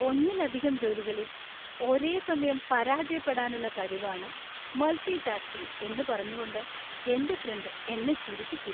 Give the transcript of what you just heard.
ഒന്നിലധികം ജോലികളിൽ ഒരേസമയം പരാജയപ്പെടാനുള്ള കഴിവാണ് മൾട്ടി ടാസ്കിംഗ് എന്ന് പറഞ്ഞുകൊണ്ട് എന്‍റെ ഫ്രണ്ട് എന്നെ ചിരിപ്പിച്ചു.